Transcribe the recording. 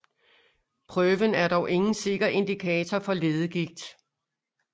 Prøven er dog ingen sikker indikator for leddegigt